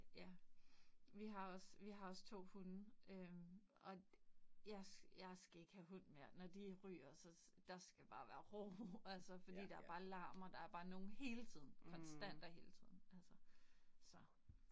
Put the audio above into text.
Ja, vi har også vi har også 2 hunde øh og jeg jeg skal ikke have hund mere. Når de ryger så, der skal bare være ro. Altså fordi der bare larm og der er bare nogen hele tiden. Konstant og hele tiden. Altså så